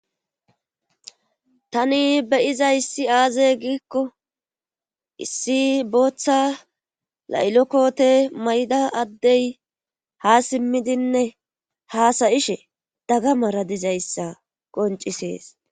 Tani beyiza issi aaze giikko issi booththa laylo kote mayda addey ha simmidinne haasayishe daga mara dizayssa qoncisees.